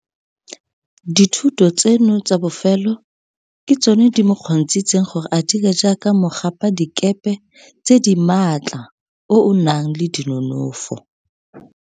Dithuto tseno tsa bofelo ke tsone di mo kgontshitseng gore a dire jaaka mogapadikepe tse di maatla o o nang le dinonofo.